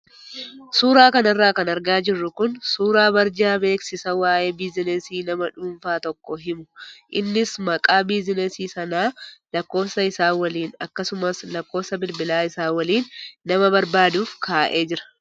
Suuraa kanarra kan argaa jirru kun suuraa barjaa beeksisa waayee biizinasii nama dhuunfaa tokko himu innis maqaa biizinasii sanaa lakkoofsa isaa waliin akkasumas lakkoofsa bilbilaa isaa waliin nama barbaaduuf kaa'amee jira.